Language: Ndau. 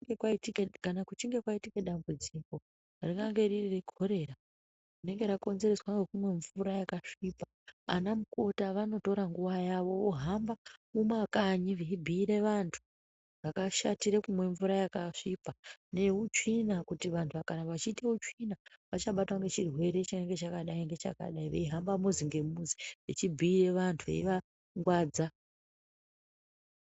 Kana kuchinge kwaiike dambudziko ringange riri rekorera rinenge rakonzereswa ngekumwa mvura yakasvipa ana mukoti anotora nguwa yavo vohamba mumakanyi veibhuira vantu zvakashatira kumwa mvura yakasvipa neutsvina kuti vanhu vakaramba vachiita utsvina vachabatwa ngechirwere chinenge chakadai ngechakadai veihamba muzi ngemuzi veivangwadza.